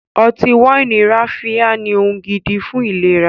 Ọtí wáìnì ráfíá ní ohun gidi fún ìlera